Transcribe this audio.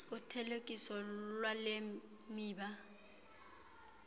uthelekiso lwale miba